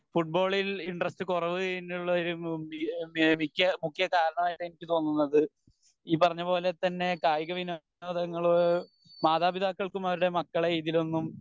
ഫുട്ബോളിന് ഇൻട്രസ്റ്റ് കുറവ് മുഖ്യ മുഖ്യകാരണമായിട്ട് എനിക്ക് തോന്നുന്നത് ഈ പറഞ്ഞ പോലെ തന്നെ കായിക വിനോദങ്ങൾ മാതാപികൾക്ക് അവരുടെ മക്കളെ ഇതിലൊന്നും